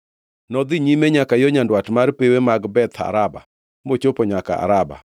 Nodhi nyime nyaka yo nyandwat mar pewe mag Beth Araba mochopo nyaka Araba.